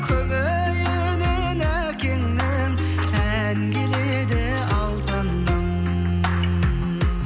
күбейінен әкеңнің ән келеді алтыным